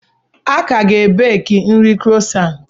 A ka ga-ebeki nri croissants.